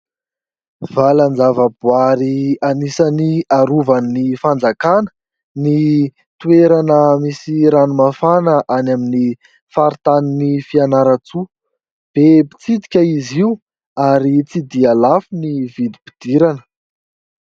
Valanjavaboary anisany arovan'ny fanjakana ny toerana misy ranomafana any amin'ny faritanin'ny Fianarantsoa. Be mpitsidika izy io ary tsy dia lafo ny vidim-pidirana.